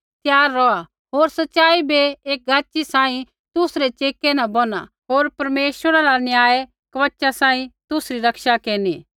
त्यार रौहा होर सच़ाई बै एक गाच़ी सांही तुसरै चेकै न बोनहा होर परमेश्वरा रा न्याय कवचा सांही तुसरी रक्षा केरनी